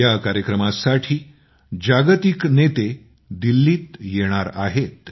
या कार्यक्रमासाठी जागतिक नेते दिल्लीत येणार आहेत